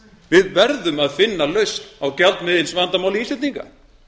við verðum að finna lausn á gjaldmiðilsvandamáli íslendinga